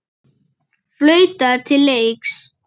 Flautað til leiks.